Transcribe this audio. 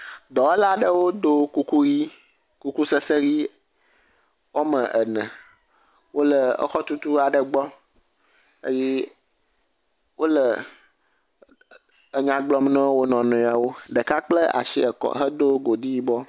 Dɔwɔla aɖewo ɖo kuku ʋi. Kuku sese ʋi wɔme ene wo le exɔtutu aɖe gbɔ eye wole enya gblɔm na wo nɔewo. Ɖeka kpla asi kɔ hedo godi yibɔ.